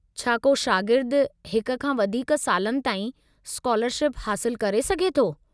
छा को शागिर्दु हिक खां वधीक सालनि ताईं स्कालरशिप हासिलु करे सघे थो?